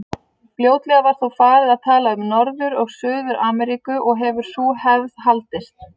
Fljótlega var þó farið að tala um Norður- og Suður-Ameríku og hefur sú hefð haldist.